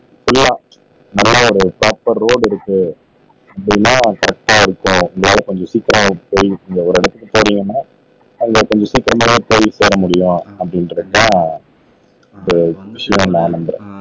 புள்ளா நல்லா ஒரு டோப்பர் ரோடு இருக்கு அப்படின்னா கரெக்டா இருக்கும் எங்கையாவது கொஞ்சம் சீக்கிரமா போய் நீங்க ஒரு இடத்துக்கு போறீங்கன்னா அதுல கொஞ்சம் சீக்கிரமா போய் வர முடியும் அப்படின்றதுதான் நான் நம்புறேன்